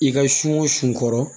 I ka sun kɔrɔ